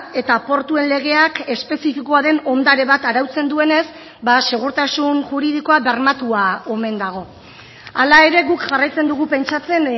eta portuen legeak espezifikoa den ondare bat arautzen duenez segurtasun juridikoa bermatua omen dago hala ere guk jarraitzen dugu pentsatzen